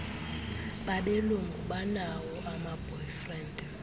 babelungu banawo amaboyfriend